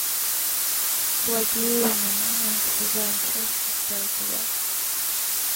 благие знамения сезон шесть шестой эпизод